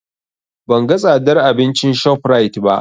Ban ga tsadar abincin ShopRite ba.